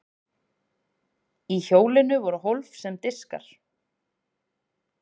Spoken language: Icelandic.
í hjólinu voru hólf sem diskar